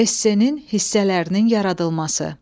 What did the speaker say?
Esse-nin hissələrinin yaradılması.